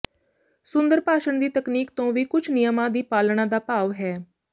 ਸੁੰਦਰ ਭਾਸ਼ਣ ਦੀ ਤਕਨੀਕ ਤੋਂ ਵੀ ਕੁਝ ਨਿਯਮਾਂ ਦੀ ਪਾਲਣਾ ਦਾ ਭਾਵ ਹੈ